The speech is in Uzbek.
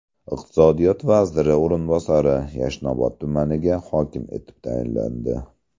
Iqtisodiyot vaziri o‘rinbosari Yashnobod tumaniga hokim etib tayinlandi.